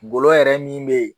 Golo yɛrɛ min be yen